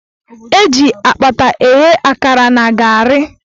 Eji akpata eghe akara na garị.